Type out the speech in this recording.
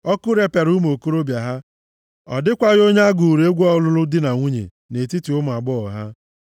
Ọkụ repịara ụmụ okorobịa ha, ọ dịkwaghị onye a gụụrụ egwu ọlụlụ di na nwunye, nʼetiti ụmụ agbọghọ ha;